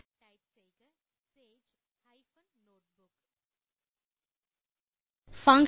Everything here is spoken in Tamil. டைப் செய்க சேஜ் மற்றும் நோட்புக் எனவும் குறிப்பிடவும்